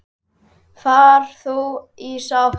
Far þú í sátt.